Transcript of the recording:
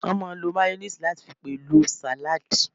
Wọ́n máà ń lo máyóníìsì láti fi pèlò sàládì